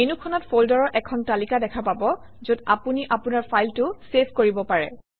মেনুখনত ফল্ডাৰৰ এখন তালিকা দেখা পাব যত আপুনি আপোনাৰ ফাইলটো চেভ কৰিব পাৰে